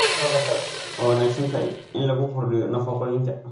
Khudradda kale waa wanaagsan tahay in lagu kordhiyo nafaqooyinka.